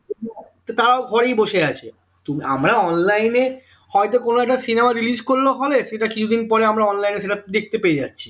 তো তারাও ঘরেই বসে আছে আমরা online এ হয়তো কোন একটা cinema release করল hall এ সেটা কিছু দিন পরে আমার online এ সেটা দেখতে পায়ে যাচ্ছি